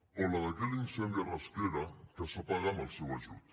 o la d’aquell incendi a rasquera que s’apaga amb el seu ajut